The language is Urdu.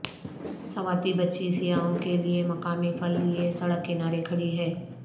سواتی بچی سیاحوں کے لیے مقامی پھل لیے سڑک کنارے کھڑی ہے